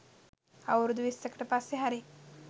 අවුරුදු විස්සකට පස්සෙ හරි